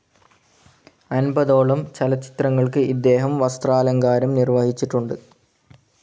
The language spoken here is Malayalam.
അൻപതോളം ചലച്ചിത്രങ്ങൾക്ക് ഇദ്ദേഹം വസ്ത്രാലങ്കാരം നിർവഹിച്ചിട്ടുണ്ട്